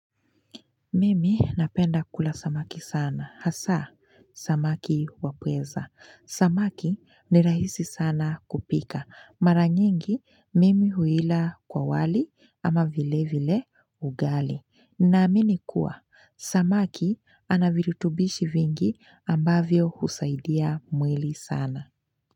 Mimi napenda kula samaki sana hasa samaki wapweza samaki ni rahisi sana kupika mara nyingi mimi huila kwa wali ama vile vile ugali. Ninaamini kuwa samaki anaviritubishi vingi ambavyo huzaidia mwili sana.